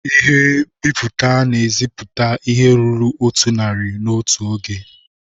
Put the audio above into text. Ihe nbiputa na-eseputa ihe ruru otu narị n'otu oge.